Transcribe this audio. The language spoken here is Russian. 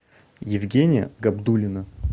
евгения габдуллина